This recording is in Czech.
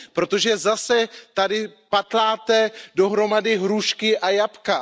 Protože tady zase patláte dohromady hrušky a jablka.